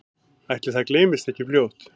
Ætli það gleymist ekki fljótt